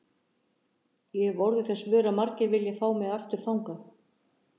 Ég hefi orðið þess vör að margir vilja fá mig aftur þangað.